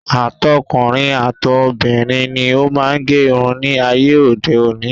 Àtọkùnrin, àtobìnrin ni ó má ń gẹ irun ní ayé òde òní.